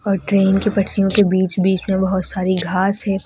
और ट्रेन की पटरियों के बीच बीच में बहुत सारी घास है।